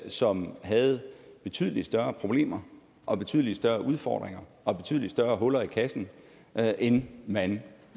som havde betydelig større problemer og betydlig større udfordringer og betydelig større huller i kassen end man